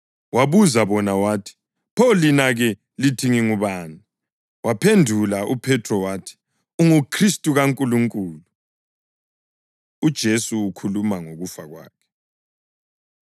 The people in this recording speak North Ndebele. Wabuza bona wathi, “Pho lina-ke? Lithi ngingubani?” Waphendula uPhethro wathi, “UnguKhristu kaNkulunkulu.” UJesu Ukhuluma Ngokufa Kwakhe